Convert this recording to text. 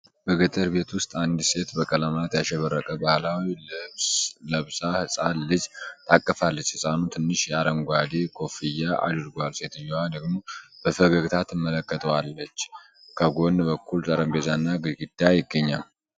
በገጠር ቤት ውስጥ አንዲት ሴት በቀለማት ያሸበረቀ ባህላዊ ልብስ ለብሳ ህፃን ልጅ ታቅፋለች። ህጻኑ ትንሽ አረንጓዴ ኮፍያ አድርጓል፣ ሴትየዋ ደግሞ በፈገግታ ትመለከተዋለች። ከጎን በኩል ጠረጴዛና ግድግዳ ይገኛል።